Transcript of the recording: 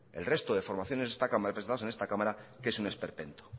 el resto de formaciones de esta cámara representados en esta cámara que es un esperpento